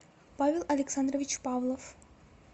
павел александрович павлов